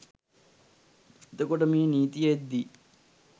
එතකොට මේ නීතිය එද්දී